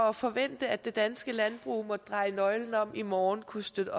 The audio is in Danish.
at forvente at det danske landbrug måtte dreje nøglen om i morgen kunne støtte